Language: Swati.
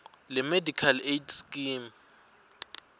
lemedical aid scheme